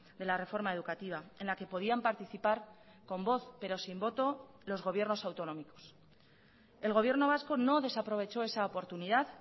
de la reforma educativa en la que podían participar con voz pero sin voto los gobiernos autonómicos el gobierno vasco no desaprovechó esa oportunidad